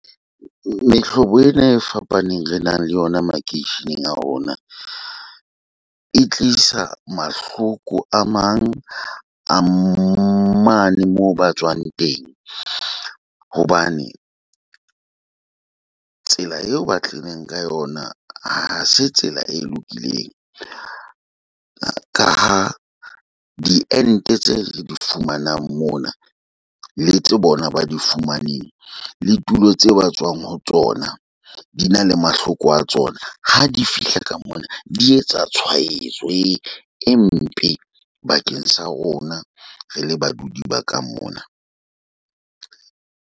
Mehlobo ena e fapaneng re nang le yona makeisheneng a rona, e tlisa mahloko a mang a mane moo ba tswang teng. Hobane tsela eo ba tlileng ka yona ha se tsela e lokileng. Ka ha di ente tse re di fumanang mona le tse bona ba di fumaneng le tulo tse ba tswang ho tsona di na le mahloko a tsona. Ha di fihla ka mona, di etsa tshwaetso e mpe bakeng sa rona re le baduli ba ka mona.